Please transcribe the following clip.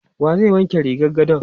Wa zai wanke rigar gadon?